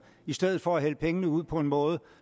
i stedet for at hælde pengene ud på en måde